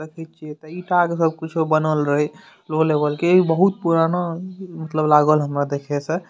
ईंट के कुछो बनल रहे लो लेवल के इ बहुत पुराना मतलब लागल हमरा देखे से।